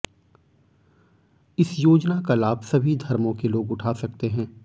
इस योजना का लाभ सभी धर्मों के लोग उठा सकते हैं